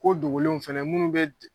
Ko dogolenw fɛnɛ munnu be di